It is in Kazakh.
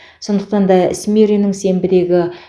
сондықтан да смирренің сенбідегі